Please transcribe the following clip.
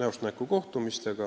näost näkku kohtumised.